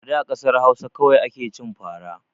A da kasar Hausa kawai ake cin fara